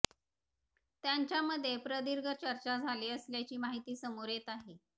त्यांच्यामध्ये प्रदीर्घ चर्चा झाली असल्याची माहिती समोर येत आहे